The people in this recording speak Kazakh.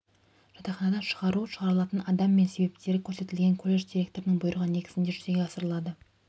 жатақханадан шығару шығарылатын адам мен себептері көрсетілген колледж директорының бұйрығы негізіде жүзеге асырылады